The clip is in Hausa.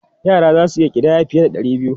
Yara za su iya ƙidaya fiye da ɗari biyu.